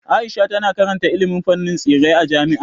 Aisha tana karanta ilimin fannin tsirrai a jami'a.